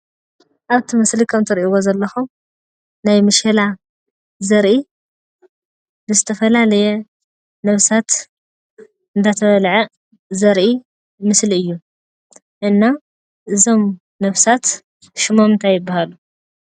ኣብቲ ምስሊ ከምእትሪእዎ ዘለኩም ናይ መሸላ ዘርኢ ብዝተፈላለየ ነብሳት እንዳተበልዐ ዘርኢ ምስሊ እዩ። እና እዞም ነብሳት ሽሞም እንታይ ይባሃሉ?